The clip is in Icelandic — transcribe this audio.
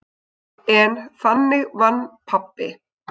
En þannig vann pabbi.